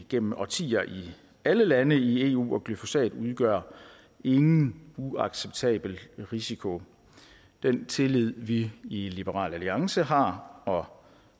igennem årtier i alle lande i eu og glyfosat udgør ingen uacceptabel risiko den tillid vi i liberal alliance har og